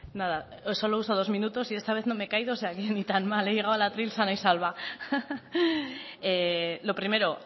nada solo uso dos minutos y esta vez no me he caído o sea que ni tan mal he llegado al atril sana y salva lo primero